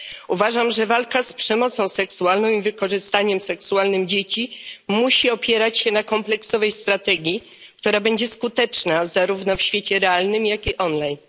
Uważam, że walka z przemocą seksualną i wykorzystywaniem seksualnym dzieci musi opierać się na kompleksowej strategii, która będzie skuteczna zarówno w świecie realnym, jak i online.